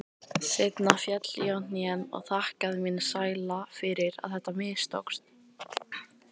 Seinna féll ég á hnén og þakkaði mínum sæla fyrir að þetta mistókst.